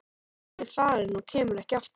Hún er farin og kemur ekki aftur.